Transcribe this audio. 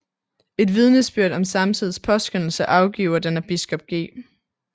Et vidnesbyrd om samtidens påskønnelse afgiver den af biskop G